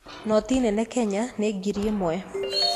Noti nene Kenya nĩ ngiri ĩmwe.